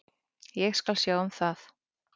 Ég skal sjá um það.